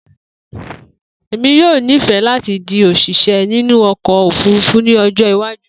Emi yoo nifẹ lati di osise inu oko ofurufu ni ojo iwaju.